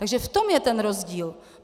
Takže v tom je ten rozdíl.